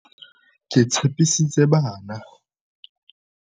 Ke tshepisitse bana.